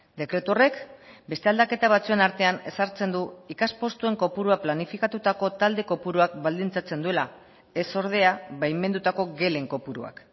dekretu horrek beste aldaketa batzuen artean ezartzen du ikaspostuen kopurua planifikatutako talde kopuruak baldintzatzen duela ez ordea baimendutako gelen kopuruak